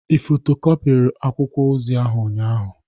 Ị fotokopiri akwụkwọ ozi ahụ ụnyaahụ?